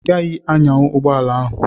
Ị gaghị anyanwu ụgbọala ahụ!